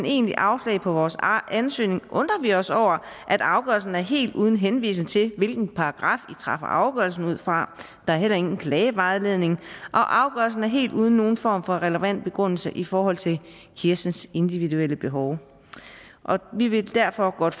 egentligt afslag på vores ansøgning undrer vi os over at afgørelsen er helt uden henvisning til hvilken paragraf i træffer afgørelsen ud fra der er heller ingen klagevejledning og afgørelsen er helt uden nogen form for relevant begrundelse i forhold til kirstens individuelle behov vi vil derfor godt